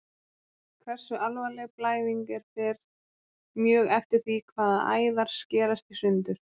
Hversu alvarleg blæðing er fer mjög eftir því hvaða æðar skerast í sundur.